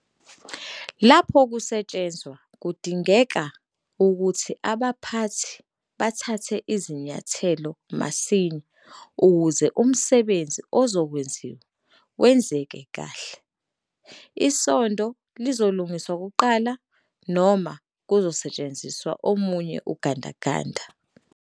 Lapho kusetshenzwa kubgadingeka ukuthi abaphathi bathathe izinyathelo masinya ukuze umsebenzi ozokwenziwa wenzeke kahle. Isondo lzolungiswa kuqala noma kuzosetshenziswa omunye ugandaganda?